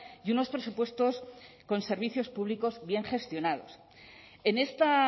y unos presupuestos con servicios públicos bien gestionados en esta